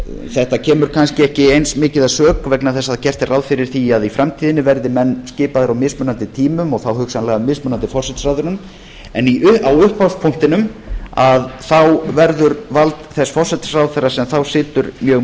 þetta kemur kannski ekki eins mikið að sök vegna þess að gert er ráð fyrir því að í framtíðinni verði menn skipaðir á mismunandi tímum og þá hugsanlega af mismunandi forsætisráðherra en á upphafspunktinum verður vald þess forsætisráðherra sem þá situr mjög